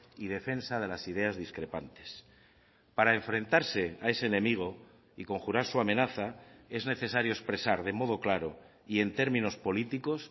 y defensa de las ideas discrepantes para enfrentarse a ese enemigo y conjurar su amenaza es necesario expresar de modo claro y en términos políticos